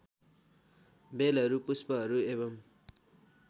बेलहरू पुष्पहरू एवम्